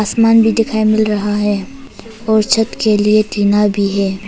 भी दिखाई मिल रहा है और छत के लिए टीना भी है।